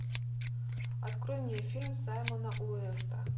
открой мне фильм саймона уэста